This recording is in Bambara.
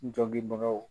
N dɔngibagaw